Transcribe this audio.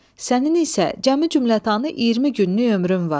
Sənin isə cəmi cümlətanı iyirmi günlük ömrün var.